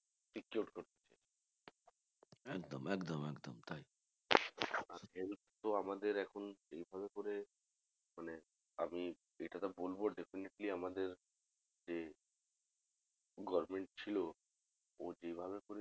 একদম একদম একদম তাই তো আমাদের এখন এইভাবে করে মানে আমি এটা definitely আমাদের যে government ছিল।